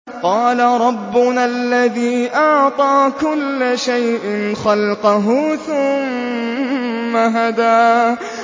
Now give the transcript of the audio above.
قَالَ رَبُّنَا الَّذِي أَعْطَىٰ كُلَّ شَيْءٍ خَلْقَهُ ثُمَّ هَدَىٰ